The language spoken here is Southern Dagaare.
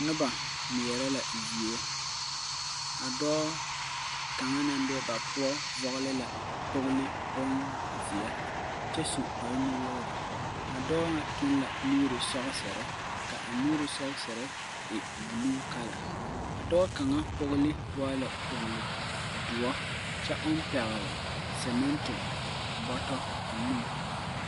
Nuba meɛre la zeɛ a doɔ kanga nan be ba pou vɔgli la kpogli bunzie kye su kpare nu wouri a doɔ nga tung la nuuri soksiri ka a nuuri soksiri e blue colour a doɔ kanga kpogli waa la kpogli dou kye ɔn pegli seminti bɔto ɔ ninge.